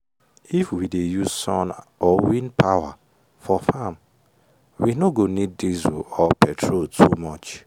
if we dey use sun or wind power for farm we no go need diesel or petrol too much.